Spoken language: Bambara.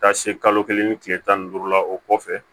Taa se kalo kelen ni tile tan ni duuru la o kɔfɛ